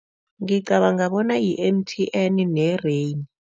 Ngicabanga bona yi-M_T_N ne-Rain.